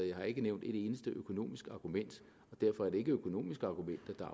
jeg har ikke nævnt et eneste økonomisk argument derfor er det ikke økonomiske argumenter